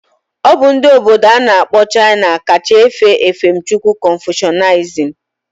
Obu ndi obodo ana akpo China ka cha efe efemchukwu confucianism.